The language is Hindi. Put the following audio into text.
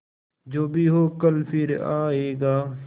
जो भी हो कल फिर आएगा